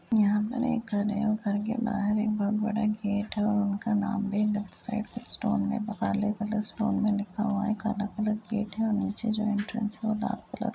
यहाँ पर एक घर है और घर के बाहर एक बोहत बड़ा गेट है और उनका नाम भी स्टॉल में काले कलर स्टॉल में लिखा हुआ है। काला कलर गेट है और नीचे जो एंट्रेंस है वो डार्क कलर --